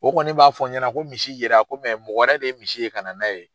O kɔni b'a fɔ n ɲɛna ko misi yera ko mɔgɔ wɛrɛ de ye misi ye ka na n'a ye.